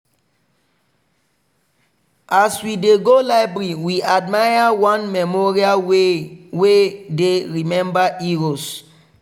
as we dey go library we admire one memorial wey wey dey remember heroes.